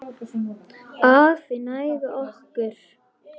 Hafi næga orku.